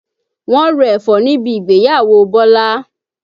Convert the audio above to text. Wọ́n ro ẹ̀fọ́ níbi ìgbéyàwó Bọ́lá